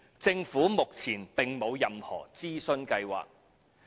政府目前並無任何諮詢計劃。